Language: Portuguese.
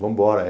Vambora.